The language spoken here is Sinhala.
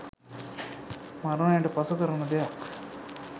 මරණයට පසු කරන දෙයක්